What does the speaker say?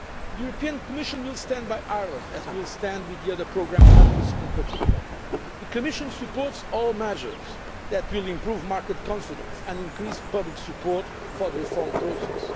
deficit. The Commission will stand by Ireland, as we will stand with the other programme countries in particular. The Commission supports all measures that will improve market confidence and increase public support for the reform